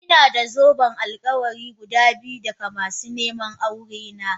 Ina da zoben alkawari guda biyu daga masu neman aurena.